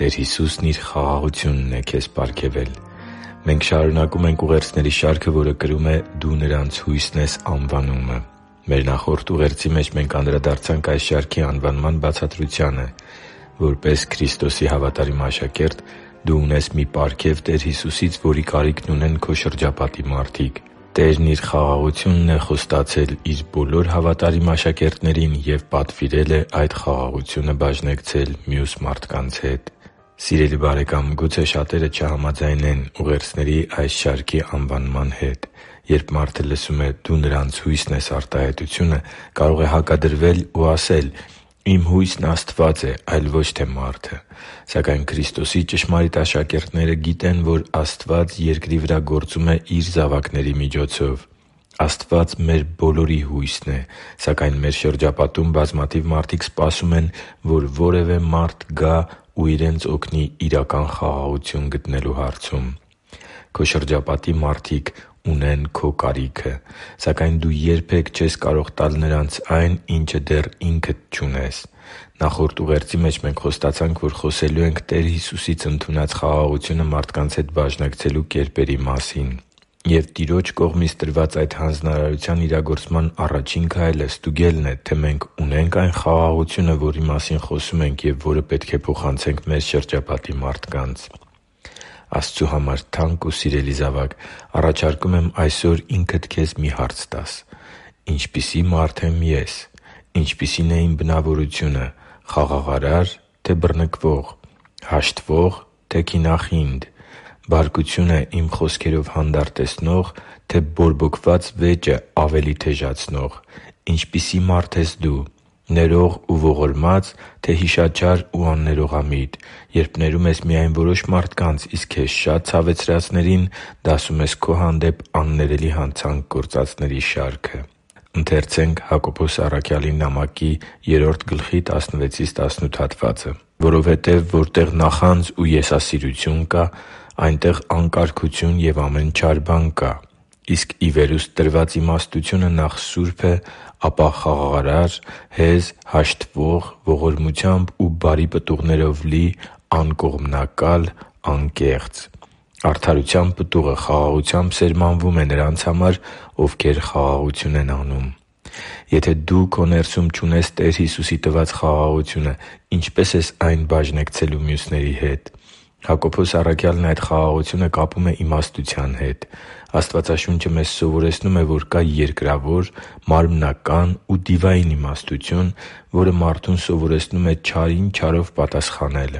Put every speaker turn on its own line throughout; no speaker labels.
Տեր Հիսուսն Իր խաղաղությունն է քեզ պարգևել Մենք շարունակում ենք ուղերձների շարքը, որը կրում է «Դու նրանց հույսն ես․․․»անվանումը։ Մեր նախորդ ուղերձի մեջ մենք անդրադարձանք այս շարքի անվանման բացատրությանը։ Որպես Քրիստոսի հավատարիմ աշակերտ՝ դու ունես մի պարգև Տեր Հիսուսից, որի կարիքն ունեն քո շրջապատի մարդիկ։ Տերը Իր խաղաղությունն է խոստացել Իր բոլոր հավատարիմ աշակերտներին և պատվիրել է այդ խաղաղությունը բաժնեկցել մյուս մարդկանց հետ։ Սիրելի՛ բարեկամ, գուցե շատերը չհամաձայնեն ուղերձների այս շարքի անվանման հետ։ Երբ մարդը լսում է «Դու նրանց հույսն ես․․․»արտահայտությունը, կարող է հակադրվել ու ասել․ «Իմ հույսն Աստված է, այլ ո՛չ թե մարդը»։ Սակայն Քրիստոսի ճշմարիտ աշակերտները գիտեն, որ Աստված երկրի վրա գործում է Իր զավակների միջոցով։ Աստված մեր բոլորի հույսն է, սակայն մեր շրջապատում բազմաթիվ մարդիկ սպասում են, որ որևէ մարդ գա ու իրենց օգնի իրական խաղաղություն գտնելու հարցում։ Քո շրջապատի մարդիկ ունեն քո կարիքը, սակայն դու երբե՛ք չես կարող տալ նրանց այն, ինչն ինքդ դեռ չունես։ Նախորդ ուղերձի մեջ մենք խոստացանք, որ խոսելու ենք Տեր Հիսուսից ընդունած մեր խաղաղությունը մարդկանց հետ բաժնեկցելու կերպերի մասին։ Եվ Տիրոջ կողմից տրված այդ հանձնարարության իրագործման առաջին քայլը ստուգելն է, թե մենք ունե՞նք այն խաղաղությունը, որի մասին խոսում ենք և որը պետք է փոխանցենք մեր շրջապատի մարդկանց։ Աստծու համար թանկ ու սիրելի՛ զավակ, առաջարկում եմ այսօր ինքդ քեզ մի հարց տալ․ «Ինչպիսի՞ մարդ եմ ես, ինչպիսի՞ն է իմ բնավորությունը՝ խաղաղարա՞ր, թե՞ բռնկվող, հաշտվո՞ղ, թե՞ քինախինդ, բարկությունը իմ խոսքերով հանդարտեցնո՞ղ, թե՞ բորբոքված վեճը ավելի թեժացնող»։ Ինչպիսի՞ մարդ ես դու։ Ներող ու ողորմա՞ծ, թե հիշաչար ու աններողամիտ, երբ ներում ես միայն որոշ մարդկանց, իսկ քեզ շատ ցավեցրածներին դասում ես քո հանդեպ աններելի հանցանք գործածների շարքը։ «․․․որովհետև որտեղ նախանձ ու եսասիրություն կա, այնտեղ անկարգություն և ամեն չար բան կա։ Իսկ ի վերուստ տրված իմաստությունը նախ սուրբ է, ապա խաղաղարար, հեզ, հաշտվող, ողորմությամբ ու բարի պտուղներով լի, անկողմնակալ, անկեղծ։ Արդարության պտուղը խաղաղությամբ սերմանվում է նրանց համար, ովքեր խաղաղություն են անում» (Հակոբոս 3․16-18): Եթե դու քո ներսում չունես Տեր Հիսուսի տված խաղաղությունը, ինչպե՞ս ես այն բաժնեկցելու մյուսների հետ։ Հակոբոս առաքյալն այդ խաղաղությունը կապում է իմաստության հետ։ Աստվածաշունչը մեզ սովորեցնում է, որ կա երկրավոր, մարմնական ու դիվային իմաստությունը, որը մարդուն սովորեցնում է չարին չարով պատասխանել։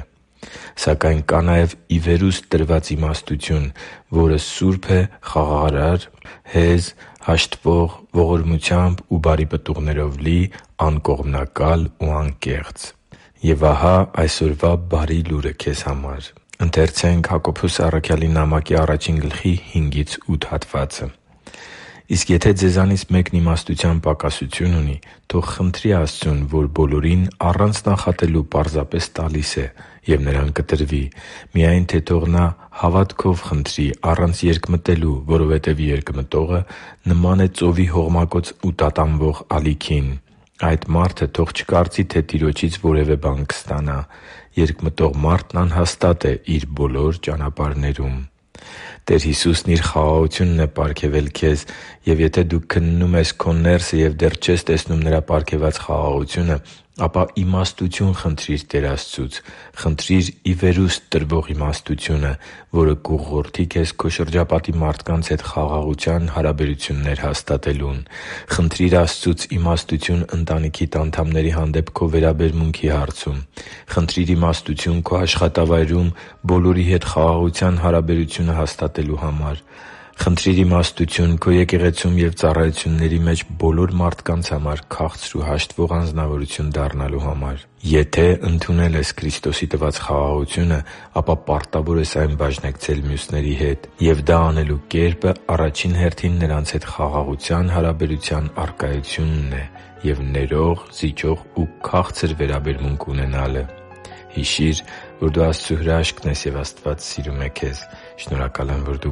Սակայն կա նաև ի վերուստ տրված իմաստությունը, որը սուրբ է, խաղաղարար, հեզ, հաշտվող, ողորմությամբ ու բարի պտուղներով լի, անկողմնակալ, անկեղծ։ Եվ ահա այսօրվա բարի լուրը քեզ համար․ «Իսկ եթե ձեզանից մեկն իմաստության պակասություն ունի, թող խնդրի Աստծուն, որ բոլորին առանց նախատելու պարզապես տալիս է, և նրան կտրվի։ Միայն թե թող նա հավատով խնդրի, առանց երկմտելու, որովհետև երկմտողը նման է ծովի հողմակոծ ու տատանվող ալիքին։ Այդ մարդը թող չկարծի, թե Տիրոջից որևէ բան կստանա։ Երկմտող մարդն անհաստատ է իր բոլոր ճանապարհներում» (Հակոբոս 1․5-8): Տեր Հիսուսն Իր խաղաղությունն է պարգևել քեզ, և եթե դու քննում ես քո ներսը և դեռ չես տեսնում Նրա պարգևած խաղաղությունը, ապա իմաստություն խնդրիր Տեր Աստծուց։ Խնդրի՛ր ի վերուստ տրվող իմաստությունը, որը կուղղորդի քեզ քո շրջապատի մարդկանց հետ խաղաղության հարաբերություններ հաստատելուն։ Խնդրի՛ր Աստծուց իմաստություն ընտանիքիդ անդամների հանդեպ քո վերաբերմունքի հարցում։ Խնդրի՛ր իմաստություն քո աշխատավայրում բոլորի հետ խաղաղության հարաբերությունը հաստատելու համար։ Խնդրի՛ր իմաստություն քո եկեղեցում և ծառայությունների մեջ բոլոր մարդկանց հետ քաղցր ու հաշտվող անձնավորություն դառնալու համար։ Եթե ընդունել ես Քրիստոսի տված խաղաղությունը, ապա պարտավոր ես այն բաժնեկցել մյուսների հետ։ Եվ դա անելու կերպը առաջին հերթին նրանց հետ խաղաղության հարաբերության առկայությունն է և ներող, զիջող ու քաղցր վերաբերմունք ունենալը։ Հիշի՛ր, որ դու Աստծո հրաշքն ես, և Աստված սիրում է քեզ։ Շնորհակալ եմ, որ դու